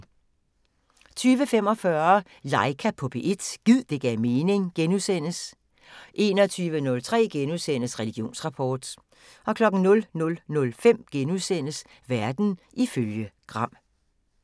20:45: Laika på P1 – gid det gav mening * 21:03: Religionsrapport * 00:05: Verden ifølge Gram *